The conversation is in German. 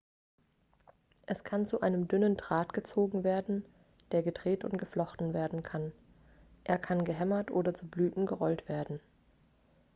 es kann zu einem dünnen draht gezogen werden der gedreht und geflochten werden kann er kann gehämmert oder zu blättern gerollt werden